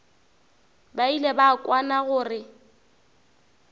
ba ile ba kwana gore